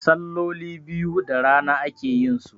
salloli biyu da rana ake yinsu